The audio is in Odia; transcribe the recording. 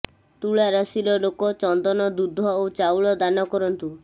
ତୁଳା ରାଶିର ଲୋକ ଚନ୍ଦନ ଦୁଧ ଓ ଚାଉଳ ଦାନ କରନ୍ତୁ